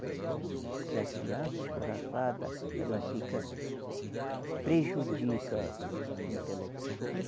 Porque a criança escorraçada, ela fica, prejudica o o intelecto da. Mas